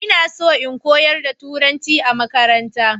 ina so in koyar da turanci a makaranta